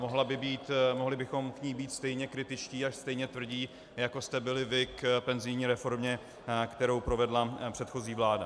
Mohli bychom k ní být stejně kritičtí a stejně tvrdí, jako jste byli vy k penzijní reformě, kterou provedla předchozí vláda.